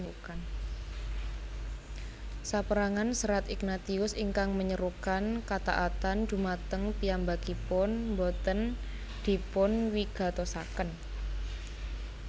Sapérangan serat Ignatius ingkang menyerukan kataatan dhumateng piyambakipun boten dipunwigatosaken